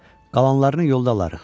Qalanlarını yolda alarıq.